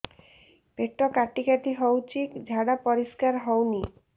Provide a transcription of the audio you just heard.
ପେଟ କାଟି କାଟି ହଉଚି ଝାଡା ପରିସ୍କାର ହଉନି